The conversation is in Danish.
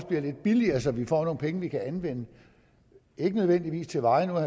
bliver lidt billigere så vi får nogle penge vi kan anvende ikke nødvendigvis til vejene vil